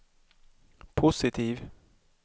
positiv